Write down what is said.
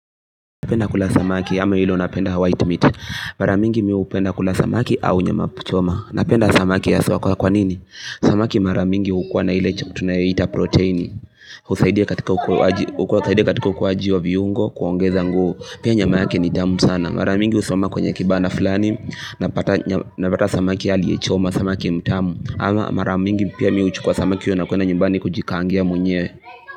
Napenda kula samaki ama hilo unapenda white meat. Mara mingi mi hupenda kula samaki au nyama choma. Napenda samaki ya sawa kwanini? Samaki mara mingi hukua na hile chukula tunaita proteini. Usaidia katika ukuaaji wa viungo kuongeza nguo. Pia nyama yake ni tamu sana. Maramingi usama kwenye kibana fulani Napata samaki aliyechoma, samaki mtamu ama mara mingi pia mi uchukua samaki nakuenda nyumbani kujikangia mwenywe.